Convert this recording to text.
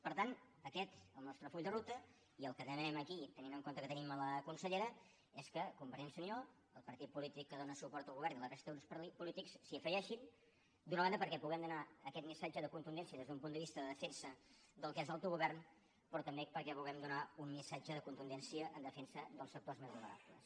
per tant aquest és el nostre full de ruta i el que demanem aquí tenint en compte que tenim la consellera és que convergència i unió el partit polític que dóna suport al govern i la resta de grups polítics s’hi afegeixin d’una banda perquè puguem donar aquest missatge de contundència des d’un punt de vista de defensa del que és l’autogovern però també perquè puguem donar un missatge de contundència en defensa dels sectors més vulnerables